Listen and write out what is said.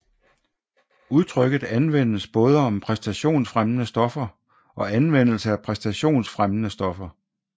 Udtrykket anvendes både om præstationsfremmende stoffer og anvendelse af præstationsfremmende stoffer